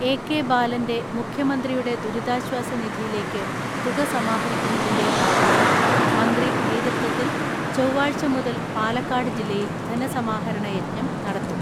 AK ബാലന്റെ മുഖ്യമന്ത്രിയുടെ ദുരിതാശ്വാസ നിധിയിലേക്ക് തുക സമാഹരിക്കുന്നതിന്റെ ഭാഗമായി മന്ത്രി നേതൃത്വത്തിൽ ചൊവ്വാഴ്ച മുതൽ പാലക്കാട് ജില്ലയിൽ ധനസമാഹരണ യജ്ഞം നടത്തും.